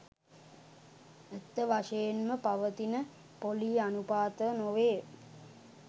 ඇත්ත වශයෙන්ම පවතින පොලී අනුපාත නොවේ